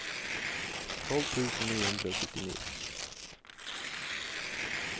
tolv tusen ni hundre og syttini